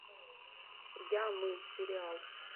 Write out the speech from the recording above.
я мы сериал